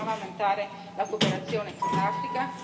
Che bisognava aumentare la cooperazione con l'Africa?